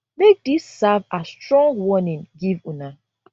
make dis serve as strong warning give una